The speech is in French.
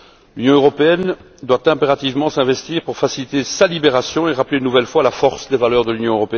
L'Union doit impérativement s'investir pour faciliter sa libération et rappeler une nouvelle fois la force des valeurs de l'Union.